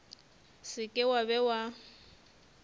se ke wa be wa